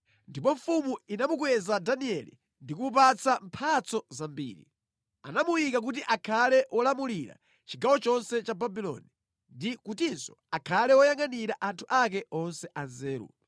Ndipo mfumu inamukweza Danieli ndi kumupatsa mphatso zambiri. Anamuyika kuti akhale wolamulira chigawo chonse cha Babuloni ndi kutinso akhale woyangʼanira anthu ake onse anzeru.